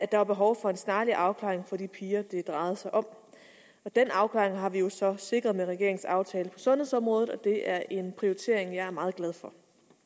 der var behov for en snarlig afklaring for de piger det drejede sig om den afklaring har vi jo så sikret med regeringens aftale på sundhedsområdet og det er en prioritering jeg er meget glad for